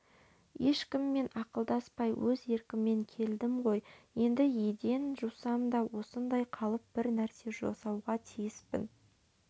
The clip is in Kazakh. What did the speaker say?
ешкіммен ақылдаспай өз еркіммен келдім ғой енді еден жусам да осында қалып бір нәрсе жасауға тиіспін